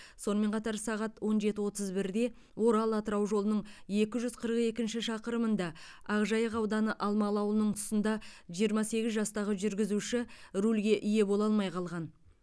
сонымен қатар сағат он жеті отыз бірде орал атырау жолының екі жүз қырық екінші шақырымында ақжайық ауданы алмалы ауылының тұсында жиырма сегіз жастағы жүргізуші рульге ие бола алмай қалған